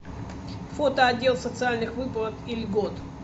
фото отдел социальных выплат и льгот